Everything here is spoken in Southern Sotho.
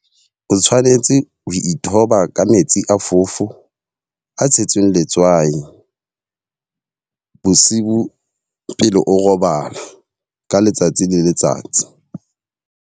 O tshwanetse o ithoba ka metsi a fofo, a tshetsweng letswai bosibu pele o robala ka letsatsi le letsatsi.